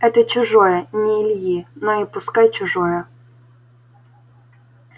это чужое не ильи но и пускай чужое